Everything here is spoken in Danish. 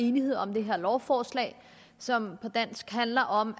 enighed om det her lovforslag som på dansk handler om